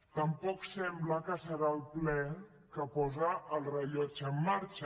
tampoc sembla que serà el ple que posa el rellotge en marxa